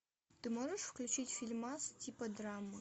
ты можешь включить фильмас типа драмы